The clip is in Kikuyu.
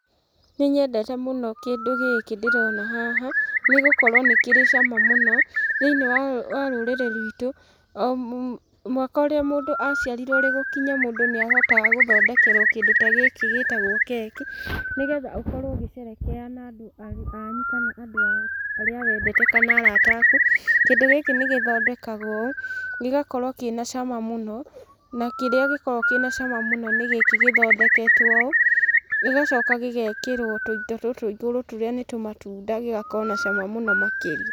Nĩ nyendete mũno kĩndũ gĩkĩ ndĩrona haha, nĩ gũkorwo nĩ kĩrĩ cama mũno, thĩinĩ wa rũrĩrĩ rwitũ, o mwaka ũrĩa mũndũ aciarirwo ũrĩ gũkinya mũndũ nĩ ahotaga gũthondekerwo kĩndũ ta gĩkĩ gĩtagwo keki, nĩgetha ũkorwo ũgĩcerehekea na andũ anyu kana andũ arĩa wendete kana arata aku, kĩndũ gĩkĩ nĩ gĩthondekagwo ũũ, gĩgakorwo kĩ na cama mũno, na kĩrĩa gĩkoragwo kĩna cama mũno nĩ gĩkĩ gĩthondeketwo ũũ, gĩgacoka gĩgekĩrwo tũindo tũtũ igũrũ tũrĩa nĩ tũmatunda gĩgakorwo na cama mũno makĩria.